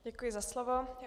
Děkuji za slovo.